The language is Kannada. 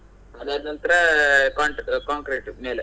ಅದಾದ ನಂತರ ಹಾ cont~ concrete ಮೇಲೆ.